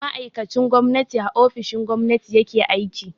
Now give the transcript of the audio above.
Ma'aikacin gwamnati a ofishin gwamnati ya ke aiki.